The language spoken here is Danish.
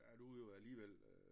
Der er du jo alligevel øh